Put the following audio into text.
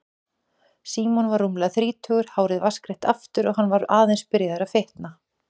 Símon var rúmlega þrítugur, hárið vatnsgreitt aftur og hann var aðeins byrjaður að fitna.